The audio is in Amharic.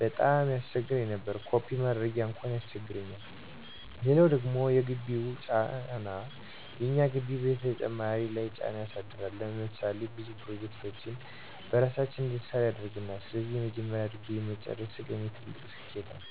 ቀጣም ያሰቸግር ነበር። ኮፒ ማድረጊያ አንኳን ይቸግራል! ሌላው ደግሞ የግቢው ጫና፦ የእኛ ግቢ በተማሪ ለይ ጫና ያሳድራል። ለምሳሌ ብዙ ፕሮጀክቶችን በራሳችን እንድንሰራ ያደርገናል። ስለዚህ የመጀመሪያ ዲግሪየን መጨረሴ ለኔ ትልቅ ስኬት ነው።